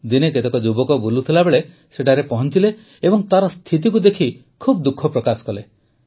ଦିନେ କେତେକ ଯୁବକ ବୁଲୁଥିବାବେଳେ ସେଠାରେ ପହଂଚିଲେ ଏବଂ ତାର ସ୍ଥିତିକୁ ଦେଖି ବହୁତ ଦୁଃଖ ପ୍ରକାଶ କଲେ